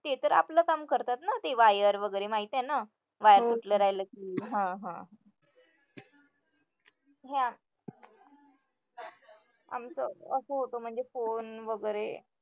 ते तर आपलं काम करतात ना ते wire वगैरे माहितीये ना आमचं असं होतं म्हणजे phone वगैरे